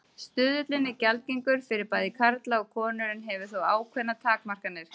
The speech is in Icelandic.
Stuðullinn er gjaldgengur fyrir bæði karla og konur en hefur þó ákveðnar takmarkanir.